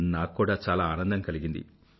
నాక్కూడా చాలా ఆనందం కలిగింది